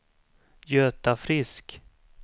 Göta Frisk